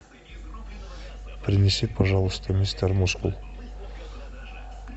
принеси пожалуйста мистер мускул